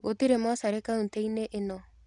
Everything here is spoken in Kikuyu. Gũtirĩ mocarĩ kauntĩ-inĩ ĩno.